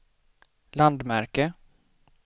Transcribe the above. landmärke